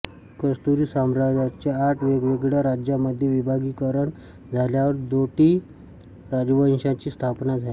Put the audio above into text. कत्यूरी साम्राज्याचे आठ वेगवेगळ्या राज्यांमध्ये विभागीकरण झाल्यावर डोटी राजवंशाची स्थापना झाली